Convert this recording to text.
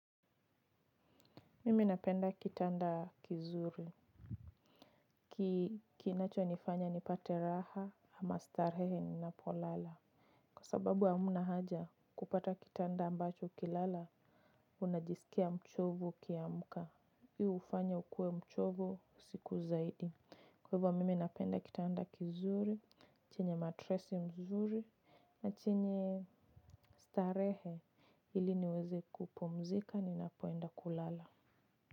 Mimi napenda kitanda kizuri, kinacho nifanya nipate raha ama starehe ninapolala. Kwa sababu hamna haja kupata kitanda ambacho kilala, unajisikia mchovu kiamuka. Hii, hufanya ukue mchovu siku zaidi. Kwa hivyo mimi napenda kitanda kizuri, chenye matresi mzuri, na chenye starehe ili niweze kupumzika ni napoenda kulala.